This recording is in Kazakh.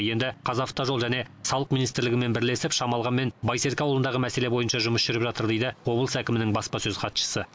енді қазавтожол және салық министрлігімен бірлесіп шамалған мен байсерке ауылындағы мәселе бойынша жұмыс жүріп жатыр дейді облыс әкімінің баспасөз хатшысы